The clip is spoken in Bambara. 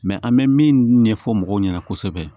an bɛ min ɲɛfɔ mɔgɔw ɲɛna kosɛbɛ